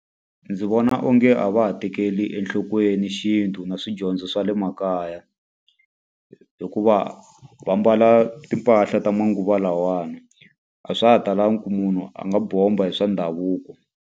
Ndzi vona onge a va ha tekeli enhlokweni xintu na swidyondzo swa le makaya. Hikuva va mbala timpahla ta manguva lawawani. A swa ha talangi ku munhu a nga bomba hi swa ndhavuko.